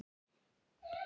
Er hann þá látinn?